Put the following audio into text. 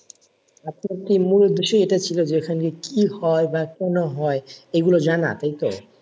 আপনার কি মূল উদ্দেশ্যই এটা ছিল যে এখানে কি হয় বা কেন হয় এইগুলো জানা এইতো?